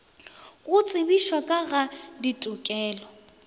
go tsebišwa ka ga ditokelo